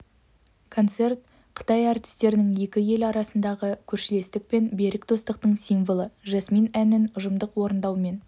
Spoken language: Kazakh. концерт қытай әртістерінің екі ел арасындағы көршілестік пен берік достықтың символы жасмин әнін ұжымдық орындауымен